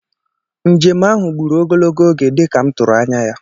Njem ahụ gbùrù ogologo oge dịka m tụrụ anya ya